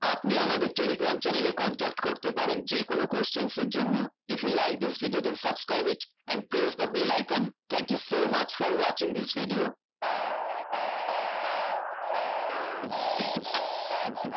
আপনি আমাদের telegram channel এ contact করতে পারেন যেকোনো questions এর জন্য if you like this video then subscribe it and press the bell icon thank you so much for watching this video